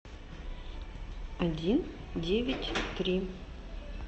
один девять три